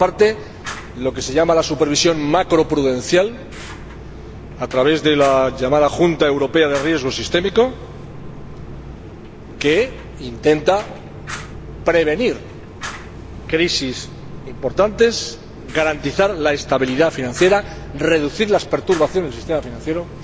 Por una parte, lo que se llama la supervisión macroprudencial, a través de la llamada Junta Europea de Riesgo Sistémico, que intenta prevenir crisis importantes, garantizar la estabilidad financiera y reducir las perturbaciones del sistema financiero.